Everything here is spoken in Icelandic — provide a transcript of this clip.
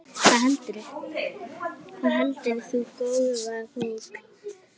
Hvað heldur þú, góða bók?